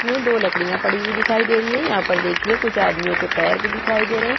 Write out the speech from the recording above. मे दो लकड़िया पड़ी हुई दिखाई दे रही हैं यहाँ पर देखिए कुछ आदमीयो के पैर भी दिखाई दे रहै हैं।